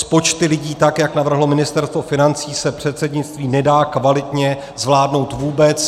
S počty lidí, tak jak navrhlo Ministerstvo financí, se předsednictví nedá kvalitně zvládnout vůbec.